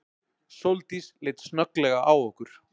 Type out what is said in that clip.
Sóldís leit snögglega á okkur.